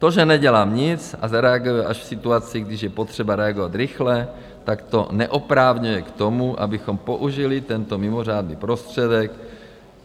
To, že nedělá nic a zareaguje až v situaci, když je potřeba reagovat rychle, tak to neopravňuje k tomu, abychom použili tento mimořádný prostředek.